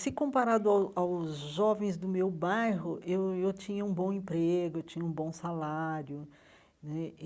Se comparado ao aos jovens do meu bairro, eu eu tinha um bom emprego, eu tinha um bom salário né.